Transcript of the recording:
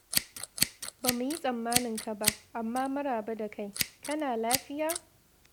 Ba mu yi tsammanin ka ba, amma maraba da kai, kana lafiya?